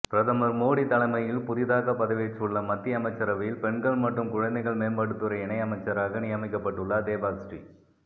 பிரதமர் மோடி தலைமையில் புதிதாக பதவியேற்றுள்ள மத்திய அமைச்சரவையில் பெண்கள் மற்றும் குழந்தைகள் மேம்பாட்டுத்துறை இணையமைச்சராக நியமிக்கப்பட்டுள்ளார் தேபாஸ்ரீ